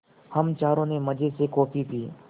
हम चारों ने मज़े से कॉफ़ी पी